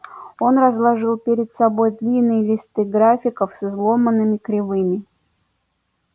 он разложил перед собой длинные листы графиков с изломанными кривыми